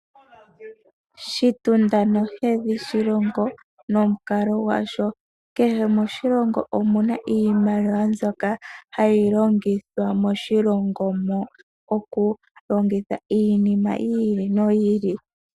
Oshitunda nohedhi oshilongo nomukalo gwasho. Kehe moshilongo omuna iimaliwa mbyoka hayi longithwa moshilongo mo oku longitha iinima yi ili no yi ili.